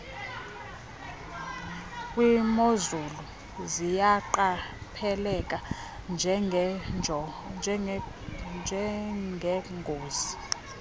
kwimozulu ziyaqapheleka njengengozi